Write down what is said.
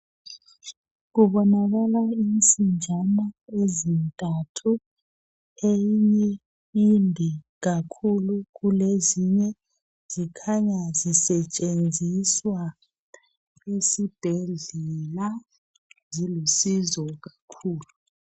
Kubonakala insinjana ezintathu eyinye inde kakhulu kulezinye zikhanya zisetshenziswa esibhedlela zilusizo kakhulu .